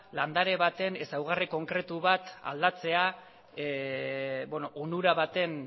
landare baten ezaugarri konkretu bat aldatzea onura baten